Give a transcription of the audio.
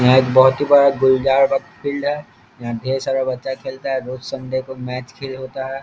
यहाँ एक बहुत ही बड़ा गुलदार बाग़ फिल्ड है यहाँ ढेर सारा बच्चा खेलता है रोज संडे को मैच होता है।